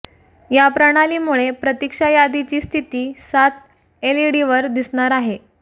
या प्रणालीमुळे प्रतीक्षा यादीची स्थिती सात एलईडींवर दिसणार आहे